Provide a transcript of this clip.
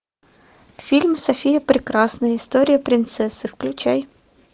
фильм софия прекрасная история принцессы включай